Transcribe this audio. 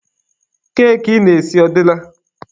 Keki ị na-esi ọ dịla?